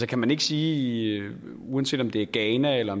kan man ikke sige uanset om det er ghana eller